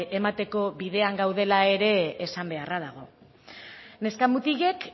emateko bidean gaudela ere esan beharra dago neska mutilek